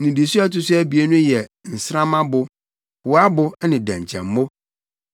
nnidiso a ɛto so abien no yɛ nsrammabo, hoabo ne dɛnkyɛmmo;